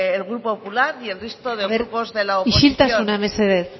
el grupo popular y el resto de grupos de la oposición isiltasuna mesedez